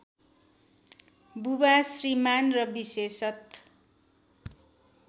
बुबा श्रीमान् र विशेषत